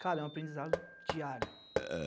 Cara, é um aprendizado diário.